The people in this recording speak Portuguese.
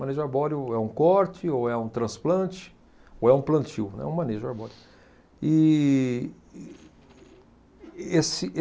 Manejo arbóreo é um corte ou é um transplante ou é um plantio, é um manejo arbóreo. E, e, esse